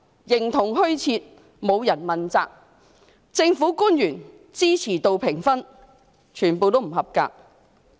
另一方面，政府官員的支持度評分"滿江紅"，全部不及格。